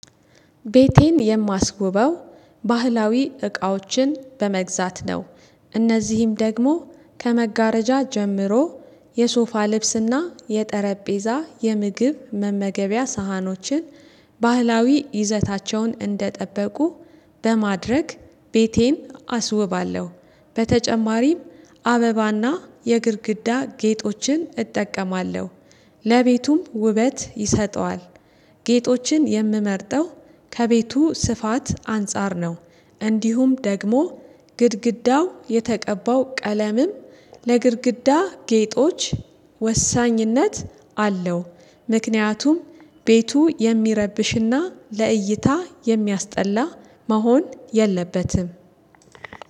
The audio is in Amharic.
ቤቴን የማስውበው ባህላዊ እቃዎችን በመግዛት ነው። እነዚህም ደግሞ ከመጋረጃ ጀምሮ የሶፋ ልብስና የጠረጴዛ የምግብ መመገቢያ ሳህኖችን ባህላዊ ይዘታቸውን እንደጠበቁ በማድረግ ቤቴን አስውባለሁ። በተጨማሪም አበባና የግድግዳ ጌጦችን እጠቀማለሁ ለቤቱም ውበት ይሰጠዋል። ጌጦችን የምመርጠው ከቤቱ ስፋት አንፃር ነው። እንዲሁም ደግሞ ግድግዳው የተቀባው ቀለምም ለግድግዳ ጌጦች ወሳኝነት አለው። ምክንያቱም ቤቱ የሚረብሽና ለእይታ የሚያስጠላ መሆን የለበትም።